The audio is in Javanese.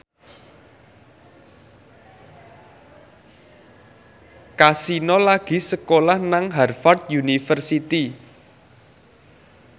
Kasino lagi sekolah nang Harvard university